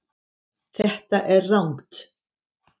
Þetta er rangt